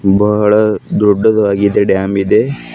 ತುಂಬಾ ಹಳ ದೊಡ್ಡದಾಗಿದೆ ಡ್ಯಾಮ್ ಇದೆ.